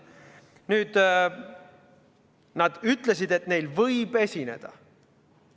Nad ütlesid, et neil võib esineda.